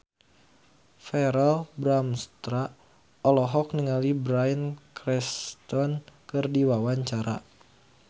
Verrell Bramastra olohok ningali Bryan Cranston keur diwawancara